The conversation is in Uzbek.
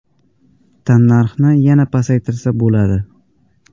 Tannarxni yana pasaytirsa bo‘ladi.